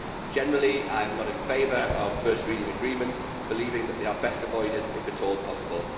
Union. Generally, I am not in favour of first reading agreements, believing that they are best avoided if at all possible.